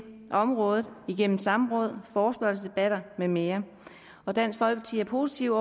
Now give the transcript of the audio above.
området igennem samråd forespørgselsdebatter med mere og dansk folkeparti er positive